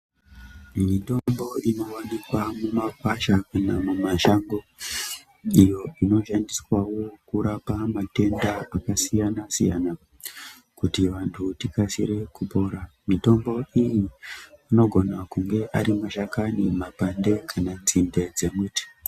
Mitombo inowanikwa mumakwasha kana mumashango iyo inoshandiswawo kurapa matenda akasiyana-siyana kuti vantu tikasire kupora. Mitombo iyi inogona kunge ari mashakani, mapande kana nzinde dzemuti.